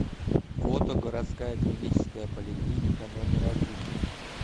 фото городская клиническая поликлиника номер один